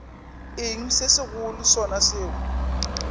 eng se segolo sona seo